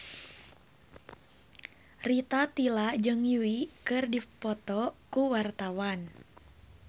Rita Tila jeung Yui keur dipoto ku wartawan